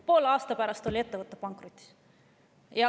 Poole aasta pärast oli ettevõte pankrotis.